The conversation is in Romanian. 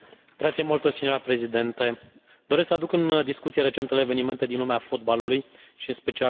Doresc să aduc în discuție recentele evenimente din lumea fotbalului și în special alegerea lui Sepp Blatter în fruntea FIFA.